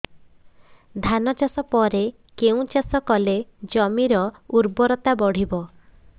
ଧାନ ଚାଷ ପରେ କେଉଁ ଚାଷ କଲେ ଜମିର ଉର୍ବରତା ବଢିବ